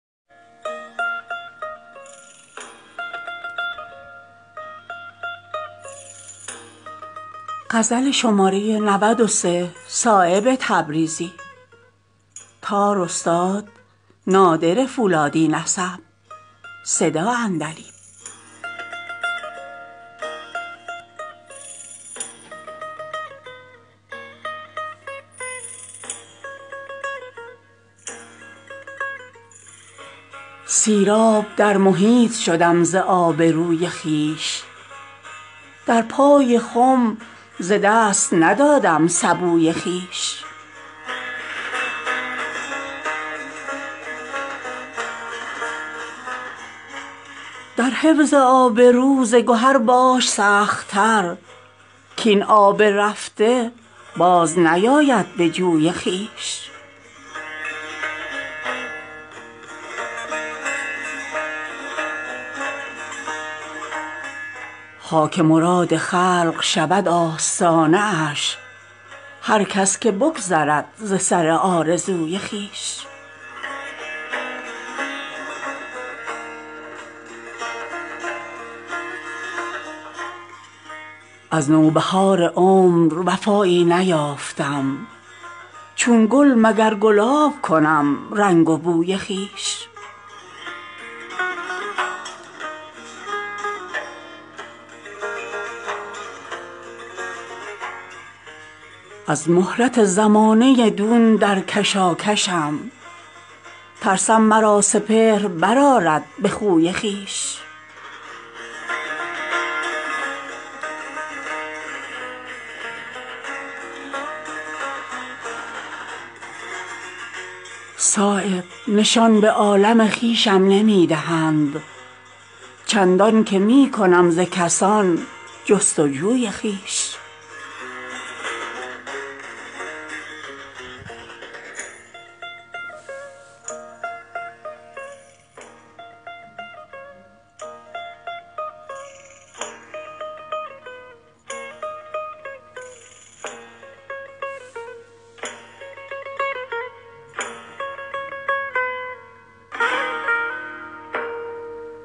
سیرآب در محیط شدم ز آبروی خویش در پای خم ز دست ندادم سبوی خویش در حفظ آبرو ز گهر باش سخت تر کاین آب رفته باز نیاید به جوی خویش خاک مراد خلق شود آستانه اش هر کس که بگذرد ز سر آرزوی خویش از نوبهار عمر وفایی نیافتم چون گل مگر گلاب کنم رنگ و بوی خویش از مهلت زمانه دون در کشاکشم ترسم مرا سپهر برآرد به خوی خویش دایم ز گفتگوی حق آزار می کشم درمانده ام چون عنبر سارا به بوی خویش صایب نشان به عالم خویشم نمی دهند چندان که می کنم ز کسان جستجوی خویش